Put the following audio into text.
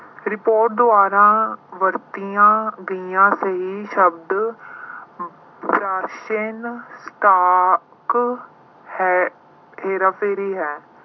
report ਦੁਆਰਾ ਵਰਤੀਆਂ ਗਈਆਂ ਕਈ ਸ਼ਬਦ stock ਹੈ ਅਹ ਹੇਰਾਫੇਰੀ ਹੈ।